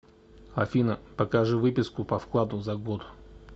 афина покажи выписку по вкладу за год